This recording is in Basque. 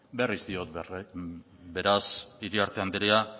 berriz diot beraz iriarte andrea